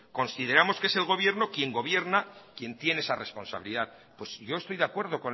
consideramos que es el gobierno quien gobierna quien tiene esa responsabilidad pues yo estoy de acuerdo